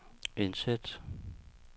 indsæt